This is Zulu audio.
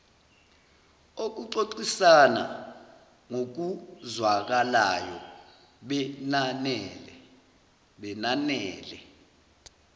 okuxoxisana ngokuzwakalayo benanele